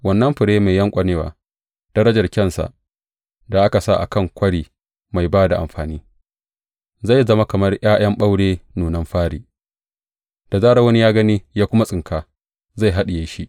Wannan fure mai yanƙwanewa, darajarar kyansa, da aka sa a kan kwari mai ba da amfani, zai zama kamar ’ya’yan ɓaure, nunan fari, da zarar wani ya gani ya kuma tsinka, zai haɗiye shi.